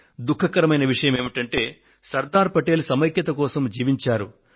దుఃఖకరమైన విషయం ఏమంటే సర్దార్ పటేల్ సమైక్యత కోసం జీవించారు